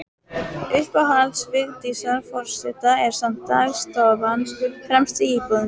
Uppáhald Vigdísar forseta er samt dagstofan, fremst í íbúðinni.